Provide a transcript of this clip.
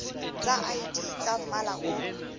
tsa id tsa mmala o